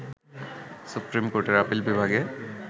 supreme কোর্টের আপিল বিভাগে